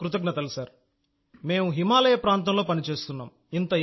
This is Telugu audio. ఇంత మారుమూల ప్రాంతంలో ఎవరు పనిచేస్తారు మేం హిమాలయ ప్రాంతంలో పనిచేస్తున్నాం